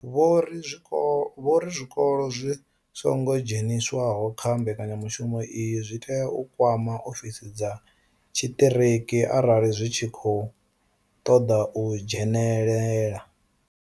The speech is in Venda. Vho ri zwikolo zwi songo dzheniswaho kha mbekanya mushumo iyi zwi tea u kwama ofisi dza tshiṱiriki arali zwi tshi khou ṱoḓa u dzhenelela.